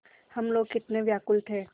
हम लोग कितने व्याकुल थे